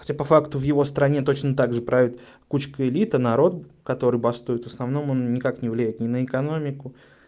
хотя по факту в его стране точно так же правит кучка элиты народ который бастует в основном он никак не влияет ни на экономику